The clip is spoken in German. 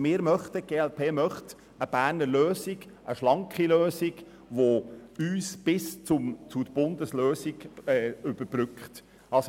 Die glp möchte eine schlanke Berner Lösung als Überbrückung, bis eine Bundesgesetzgebung in Kraft ist.